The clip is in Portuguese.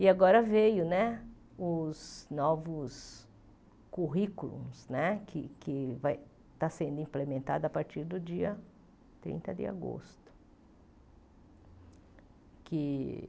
E agora veio né os novos currículos né, que que vai está sendo implementados a partir do dia trinta de agosto. Que